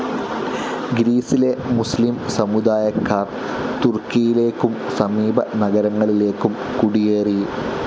ഗ്രീസിലെ മുസ്ലീം സമുദായക്കാർ തുർക്കിയിലേക്കും സമീപ നഗരങ്ങളിലേക്കും കുടിയേറി